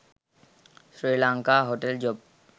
srilanka hotel job